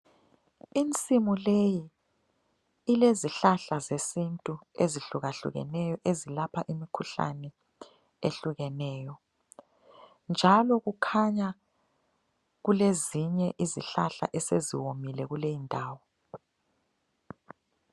Insimu leyi ilezihlahla zesintu ezihlukahlukeneyo ezilapha imikhuhlane ehlukeneyo. Njalo kukhanya kulezinye izihlahla esezomile kulendawo.